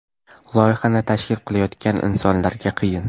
Loyihani tashkil qilayotgan insonlarga qiyin.